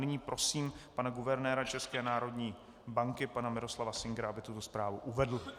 Nyní prosím pana guvernéra České národní banky pana Miroslava Singera, aby tuto zprávu uvedl.